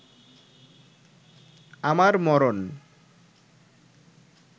আমার মরণ